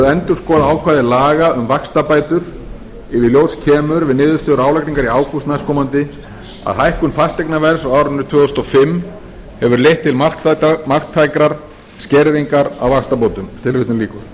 endurskoða ákvæði laga um vaxtabætur ef í ljós kemur við niðurstöðu álagningar í ágúst næstkomandi að hækkun fasteignaverðs á árinu tvö þúsund og fimm hefur leitt til marktækrar skerðingar á vaxtabótum